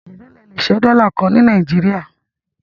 Èló ni a lè ṣẹ́ dọ́là kan ní Nàìjíríà?